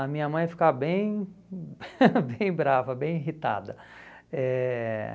A minha mãe ficava bem, hum, bem brava, bem irritada. Eh